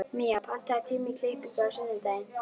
Mía, pantaðu tíma í klippingu á sunnudaginn.